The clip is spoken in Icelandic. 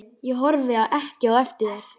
Ég horfi ekki eftir þér.